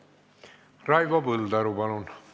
Raivo Põldaru, palun!